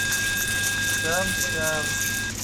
сянсян